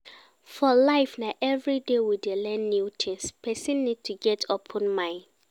For life na everyday we dey learn new things, person need to get open mind